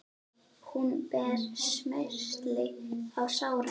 Hún ber smyrsli á sárin.